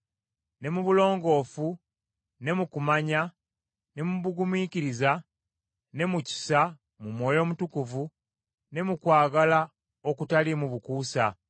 ne mu bulongoofu, ne mu kumanya, ne mu bugumiikiriza, ne mu kisa, mu Mwoyo Omutukuvu, ne mu kwagala okutaliimu bukuusa,